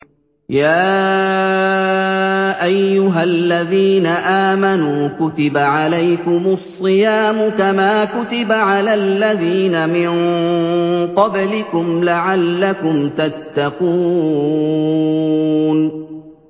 يَا أَيُّهَا الَّذِينَ آمَنُوا كُتِبَ عَلَيْكُمُ الصِّيَامُ كَمَا كُتِبَ عَلَى الَّذِينَ مِن قَبْلِكُمْ لَعَلَّكُمْ تَتَّقُونَ